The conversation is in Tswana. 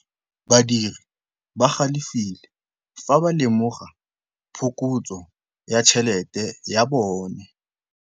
Badiri ba galefile fa ba lemoga phokotsô ya tšhelête ya bone.